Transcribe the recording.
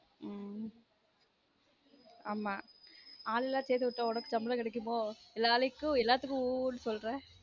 உம் ஆமா ஆள் எல்லான் சேர்த்து விட்டா உனக்கு சம்பளம் கெடைகும்மோ எல்லாத்துக்கும் உம் உம் சொல்ற